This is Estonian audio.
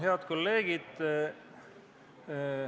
Head kolleegid!